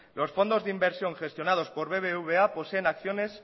los fondos de inversión gestionados por el bbva poseen acciones